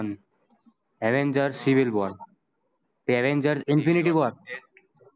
avengers civil war avengers infinity war